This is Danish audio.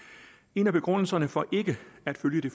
en af begrundelserne for ikke at følge det